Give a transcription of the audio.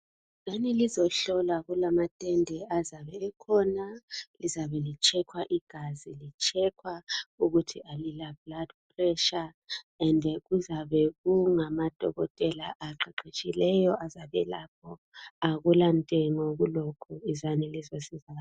Wozani lizohlolwa kulamatende azabe ekhona lizabe lichekhwa igazi lichekhwa ukuthi alilablood pressure ended kuzabe kungamadokotela aqeqetshileyo azabelapho akulantengo kulokho izani lizosizakala.